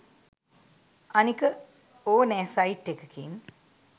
අනික ඕනෑ සයිට් එකකින්